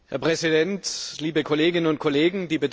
Herr Präsident, liebe Kolleginnen und Kollegen!